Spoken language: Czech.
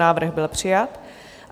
Návrh byl přijat.